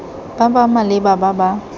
ba ba maleba ba ba